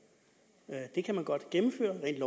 i kan man godt gennemføre rent